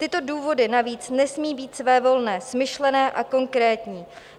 Tyto důvody navíc nesmí být svévolné, smyšlené a konkrétní.